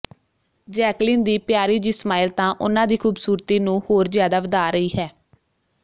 Jacqueline ਦੀ ਪਿਆਰੀ ਜੀ ਸਮਾਇਲ ਤਾਂ ਉਨ੍ਹਾਂ ਦੀ ਖੂਬਸੂਰਤੀ ਨੂੰ ਹੋਰ ਜ਼ਿਆਦਾ ਵਧਾ ਰਹੀ ਹੈ